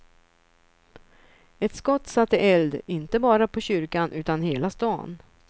Ett skott satte eld, inte bara på kyrkan utan hela stan.